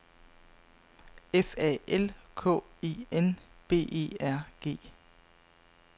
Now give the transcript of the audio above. F A L K E N B E R G